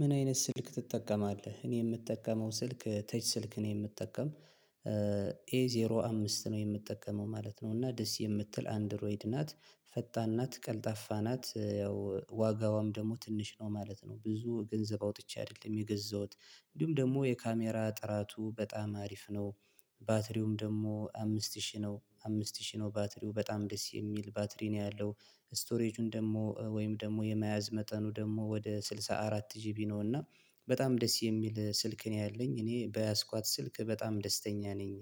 ምን አይነት ስልክ ትጠቀማለህ? እኔ የምጠቀመው ስልክ ተች ስልክ ነው የምጠቀም ዜሮ አምስት ነው የምጠቀመው ማለት ነው። እና ደስ የምትል አንድሮይድ ናት ፈጣን ናት ቀልጣፋ ናት ያው ዋጋዋም ደግሞ ትንሽ ነው ማለት ነው ብዙ ገንዘብ አውጥቼ አይደለም የገዛሁት። እንዲሁም ደግሞ የካሜራ ጥራቱ በጣም አሪፍ ነው። ባትሪውም ደግሞ አምስት ሺህ ነው አምስት ሺህ ነው ባትሪው በጣም ደስ የሚል ባትሪ ነው ያለው። ስቶሬጁን ደግሞ ወይም ደግሞ የመያዝ መጠኑ ደግሞ ወደ ስልሳ አራት ጂቢ ነውና። በጣም ደስ የሚል ስልክ ነው ያለኝ እኔ በያዝኳት ስልክ በጣም ደስተኛ ነኝ።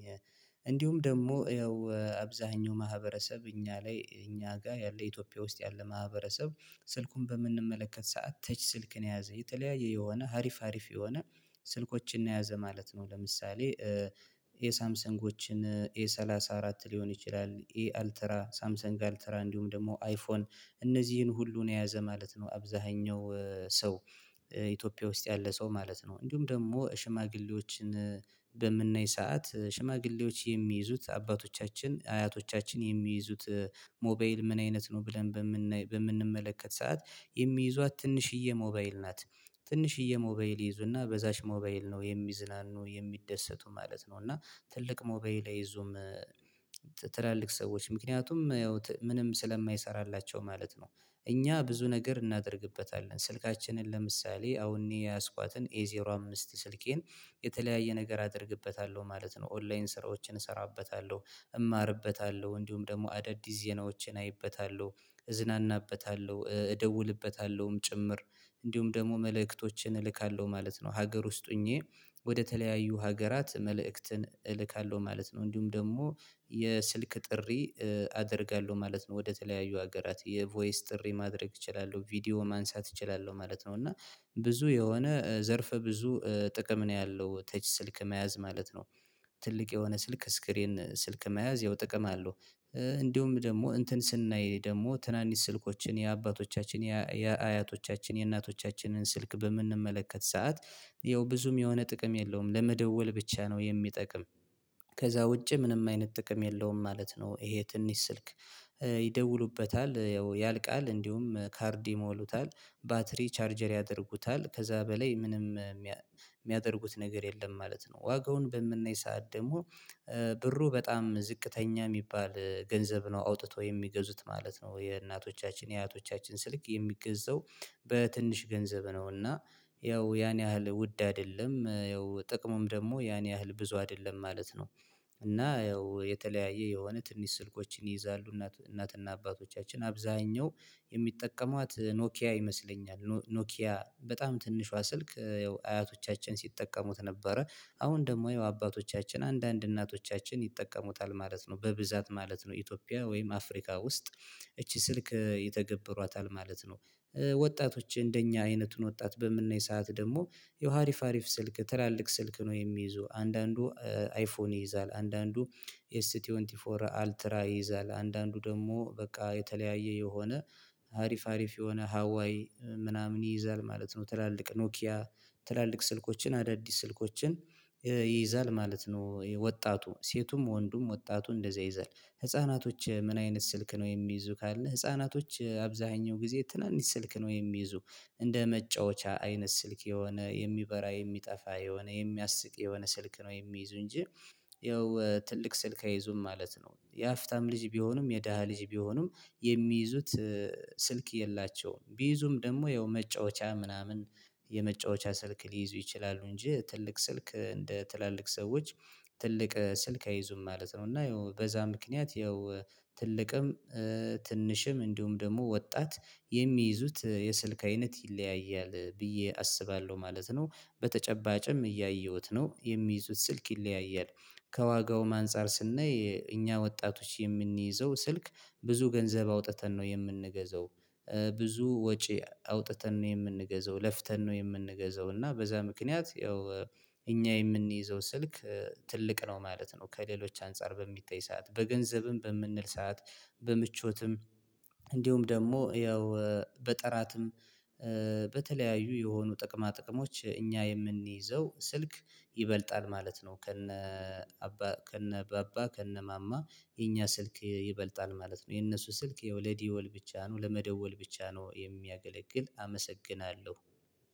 እንዲሁም ደግሞ ያው አብዛኛው ማህበረሰብ እኛ ላይ እኛ ጋር ያለ ኢትዮጵያ ውስጥ ያለ ማህበረሰብ ስልኩን በምንመለከት ሰዓት ተች ስልክን የያዘ የተለያየ የሆነ ሀሪፍ ሀሪፍ የሆነ ስልኮችን የያዘ ማለት ነው። ለምሳሌ የሳምሰንጎችን ኤ ሰላሳ አራት ሊሆን ይችላል ኤ አልተራ ሳምሰንግ አልተራ እንዲሁም ደግሞ አይፎን። እነዚህን ሁሉን የያዘ ማለት ነው አብዛኛው ሰው። ኢትዮጵያ ውስጥ ያለ ሰው ማለት ነው እንዲሁም ደግሞ ሽማግሌዎችን በምናይ ሰዓት ሽማግሌዎች የሚይዙት አባቶቻችን አያቶቻችን የሚይዙት ሞባይል ምን አይነት ነው ብለን? በምንመለከት ሰዓት የሚይዟት ትንሽዬ ሞባይል ናት። ትንሽዬ ሞባይል ይይዙና በዛች ሞባይል ነው የሚዝናኑ የሚደሰቱ ማለት ነው። እና ትልቅ ሞባይላይ አይዞም ትላልቅ ሰዎች ምክንያቱም ምንም ስለማይሰራላቸው ማለት ነው። እኛ ብዙ ነገር እናደርግበታለን ስልካችንን ለምሳሌ አሁን የያዝኳትን ኤ ዜሮ አምስት ስልኬን። የተለያየ ነገር አደርግበታለሁ ማለት ነው ኦንላይን ስራዎችን እሰራበታለሁ። እማርበታለሁ እንዲሁም ደግሞ አዳዲስ ዜናዎችን አይበታለሁ። እዝናናበታለሁ እደውልበታለሁም ጭምር። እንዲሁም ደግሞ መልእክቶችን እልካለሁ ማለት ነው። ሀገር ውስጥ ሆኜ ወደተለያዩ ሀገራት መልእክትን እልካለሁ ማለት ነው። እንዲሁም ደግሞ የስልክ ጥሪ አደርጋለሁ ማለት ነው። ወደተለያዩ ሀገራት የቮይስ ጥሪ ማድረግ እችላለሁ ቪዲዮ ማንሳት እችላለሁ ማለት ነው። እና ብዙ የሆነ ዘርፍ ብዙ ጥቅም ነው ያለው ተች ስልክ መያዝ ማለት ነው። ትልቅ የሆነ ስልክ ስክሪን ስልክ መያዝ ያው ጥቅም አለው። እንደውም ደግሞ እንትን ስናይ ደግሞ ትናንሽ ስልኮችን የአባቶቻችን የአያቶቻችን የእናቶቻችንን ስልክ በምንመለከት ሰዓት ያው ብዙም የሆነ ጥቅም የለውም ለመደወል ብቻ ነው የሚጠቅም። ከዛ ውጪ ምንም አይነት ጥቅም የለውም ማለት ነው። ይሄ ትንሽ ስልክ። ይደውሉበታል ያው ያልቃል እንዲሁም ካርድ ይሞሉታል። ባትሪ ቻርጀር ያደርጉታል ከዛ በላይ ምንም የሚያደርጉት ነገር የለም ማለት ነው። ዋጋውን በምናይ ሰዓት ደግሞ ብሩ በጣም ዝቅተኛ የሚባል ገንዘብ ነው አውጥተው የሚገዙት ማለት ነው። የእናቶቻችን የአያቶቻችን ስልክ የሚገዛው። በትንሽ ገንዘብ ነው እና ያው ያን ያህል ውድ አይደለም ያው ጥቅሙም ደግሞ ያን ያህል ብዙ አይደለም ማለት ነው። እና ያው የተለያየ የሆነ ትንሽ ስልኮችን ይይዛሉ እናት እናትና አባቶቻችን አብዛኛው የሚጠቀሟት ኖኪያ ይመስለኛል ኖኪያ በጣም ትንሿ ስልክ። አያቶቻችን ሲጠቀሙት ነበረ። አሁን ደግሞ አባቶቻችን አንዳንድ እናቶቻችን ይጠቀሙታል ማለት ነው በብዛት ማለት ነው ኢትዮጵያ ወይም አፍሪካ ውስጥ። እቺ ስልክ የተገበሯታል ማለት ነው። ወጣቶች እንደኛ አይነቱን ወጣት በምናይ ሰዓት ደግሞ ያው አሪፍ አሪፍ ስልክ ትላልቅ ስልክ ነው የሚይዙ አንዳንዱ አይፎን ይይዛል አንዳንዱ። ኤስ ተዌንቲ ፎር አልትራ ይይዛል አንዳንዱ ደግሞ በቃ የተለያየ የሆነ ሀሪፍ ሀሪፍ የሆነ ሀዋይ ምናምን ይይዛል ማለት ነው። ትላልቅ ኖኪያ። ትላልቅ ስልኮችን አዳዲስ ስልኮችን። ይይዛል ማለት ነው። ወጣቱ ሴቱም ወንዱም ወጣቱም እንደዛ ይዘን ህፃናቶች ምን አይነት ስልክ ነው የሚይዙ? ካለ ህፃናቶች አብዛኛው ጊዜ ትናንሽ ስልክ ነው የሚይዙ። እንደ መጫወቻ አይነት ስልክ የሆነ የሚበራ የሚጠፋ የሆነ የሚያስቅ የሆነ ስልክ ነው የሚይዙ እንጂ። ይኸው ትልቅ ስልክ አይዙም ማለት ነው። የሀገረ ሀፍታም ልጅ ቢሆኑም የደሃ ልጅ ቢሆኑም። የሚይዙት ስልክ የላቸውም ቢይዙም ደግሞ ይኸው መጫወቻ ምናምን። የመጫወቻ ስልክ ሊይዙ ይችላሉ እንጂ ትልቅ ስልክ እንደ ትላልቅ ሰዎች ትልቅ ስልክ አይዙም ማለት ነው። እና ይሄው በዛ ምክንያት ያው ትልቅም ትንሽም እንዲሁም ደግሞ ወጣት የሚይዙት የስልክ አይነት ይለያያል ብዬ አስባለሁ ማለት ነው። በተጨባጭም እያየሁት ነው የሚይዙት ስልክ ይለያያል። ከዋጋውም አንፃር ስናይ እኛ ወጣቶች የምንይዘው ስልክ ብዙ ገንዘብ አውጥተን ነው የምንገዛው። ብዙ ወጪ አውጥተን ነው የምንገዛው ለፍተን ነው የምንገዛው እና በዛ ምክንያት ያው እኛ የምንይዘው ስልክ ትልቅ ነው ማለት ነው። ከሌሎች አንፃር በሚጠይ ሰዓት በገንዘብም በምንል ሰዓት በምቾትም እንዲሁም ደግሞ ያው በጠራትም በተለያዩ የሆኑ ጥቅማ ጥቅሞች እኛ የምንይዘው ስልክ ይበልጣል ማለት ነው። ከነ ከነ ባባ ከነ ማማ የኛ ስልክ ይበልጣል ማለት ነው። የነሱ ስልክ የወለ ደወል ብቻ ነው ለመደወል ብቻ ነው የሚያገለግል። አመሰግናለሁ።